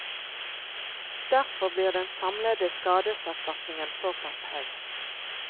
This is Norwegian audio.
Derfor blir den samlede skadeserstatningen såpass høy.